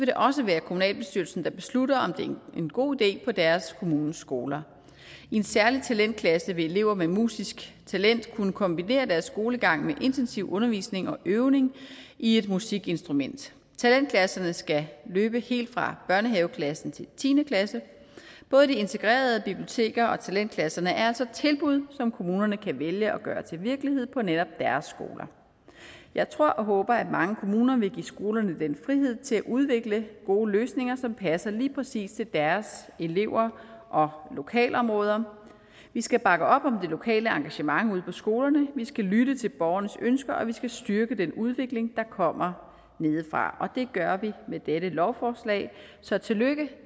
det også være kommunalbestyrelsen der beslutter om det er en god idé på deres kommunes skoler i en særlig talentklasse vil elever med musisk talent kunne kombinere deres skolegang med intensiv undervisning og øvning i et musikinstrument talentklasserne skal løbe helt fra børnehaveklassen til tiende klasse både de integrerede biblioteker og talentklasserne er altså tilbud som kommunerne kan vælge at gøre til virkelighed på netop deres skoler jeg tror og håber at mange kommuner vil give skolerne den frihed til at udvikle gode løsninger som passer lige præcis til deres elever og lokalområde vi skal bakke op om det lokale engagement ude på skolerne vi skal lytte til borgernes ønsker og vi skal styrke den udvikling der kommer nedefra og det gør vi med dette lovforslag så tillykke